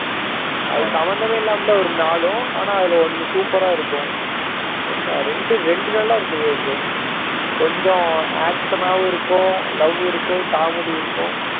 அது சம்பந்தமே இல்லாம தான் வரும் நாளும் ஆனா அதுல ஒன்னு super ஆ இருக்கும் ஒன்னா ஒன்னு ரெண்டு ரெண்டு நல்லா இருந்தது விவேக் கொஞ்சம் action ஆவும் இருக்கும் love இருக்கும் comedy இருக்கும்